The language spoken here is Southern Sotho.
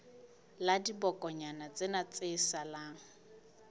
la dibokonyana tsena tse salang